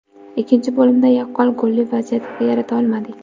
Ikkinchi bo‘limda yaqqol golli vaziyat yarata olmadik.